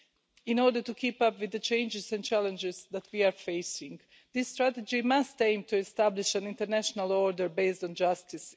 In order to keep up with the changes and challenges that we are facing, this strategy must aim to establish an international order based on justice.